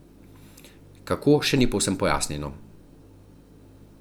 Kako, še ni povsem pojasnjeno.